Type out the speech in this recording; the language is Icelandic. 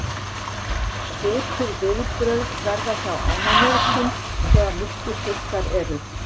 svipuð viðbrögð verða hjá ánamöðkum þegar miklir þurrkar eru